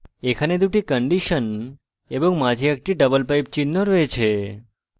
এখানে দুটি কন্ডিশন এবং মাঝে একটি double pipe চিহ্ন রয়েছে